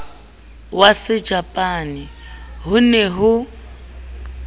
wa sejapane ho ne ho